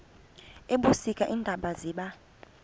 ebusika iintaba ziba